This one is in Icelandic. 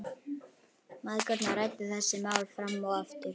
Mæðgurnar ræddu þessi mál fram og aftur.